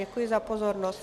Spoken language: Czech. Děkuji za pozornost.